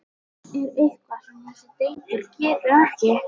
Er eitthvað sem þessi drengur getur ekki?!